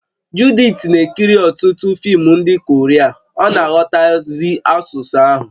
Judith na-ekiri ọtụtụ fim ndị Korea ọ na-aghọtazi asụsụ ahụ